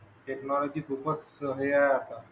technology खूपच हे आहे आता